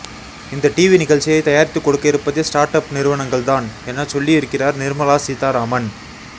இந்த டிவி நிகழ்ச்சியை தயாரித்துக் கொடுக்க இருப்பதே ஸ்ஆர்ட் அப் நிறுவனங்கள் தான் எனச் சொல்ல் இருக்கிறார் நிர்மலா சீதாராமன்